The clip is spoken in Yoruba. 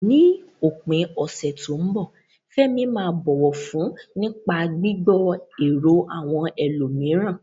Ní òpin ọ̀sẹ̀ tó ń bọ̀, Fẹ́mi máa bọ̀wọ̀ fún nípa gbígbọ́ èrò àwọn ẹlòmíràn.